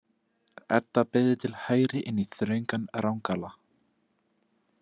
Edda beygði til hægri inn í þröngan rangala.